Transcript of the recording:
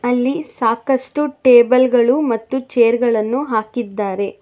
ಅಲ್ಲಿ ಸಾಕಷ್ಟು ಟೇಬಲ್ ಗಳು ಮತ್ತು ಚೇರ್ ಗಳನ್ನು ಹಾಕಿದ್ದಾರೆ.